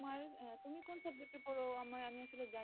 আর তুমি কোন subject এ পড়ো? আমার আমি আসলে জানিনা?